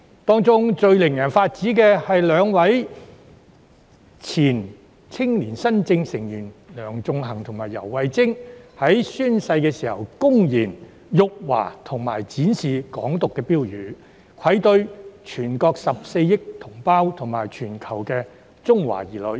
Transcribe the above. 當中最令人髮指的，是兩名前青年新政成員梁頌恆和游蕙禎，在宣誓時公然辱華及展示"港獨"標語，愧對全國14億同胞及全球中華兒女。